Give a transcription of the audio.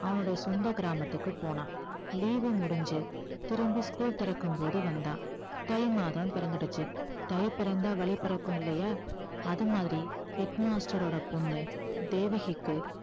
அவனுடைய சொந்த கிராமத்துக்கு போனான் leave வு முடிஞ்சு திரும்பி school திறக்கும்போது வந்தான் தை மாதம் பிறந்துடுச்சு தை பிறந்தால் வழி பிறக்கும் இல்லையா அது மாதிரி head master ஓட பொண்ணு தேவகிக்கு